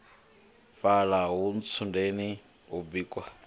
fhala ha ntsundeni hu bikwa